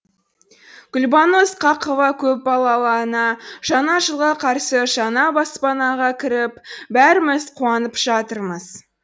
гүлбану ысқақова көпбалалы ана жаңа жылға қарсы жаңа баспанаға кіріп бәріміз қуанып жатырмыз